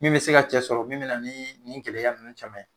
Min be se ka cɛ sɔrɔ min bɛna nii nin gɛlɛya ninnu caman ye.